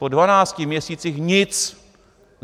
Po dvanácti měsících nic.